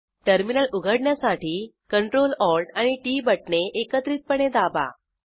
terminal उघडण्यासाठी Ctrl Alt आणि T बटणे एकत्रितपणे दाबा